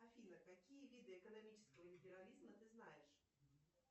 афина какие виды экономического империализма ты знаешь